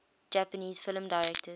japanese film directors